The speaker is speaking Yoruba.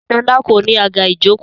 Sọlá kò ní àga ìjókòó